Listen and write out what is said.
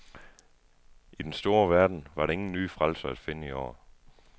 I den store verden var der ingen nye frelsere at finde i år.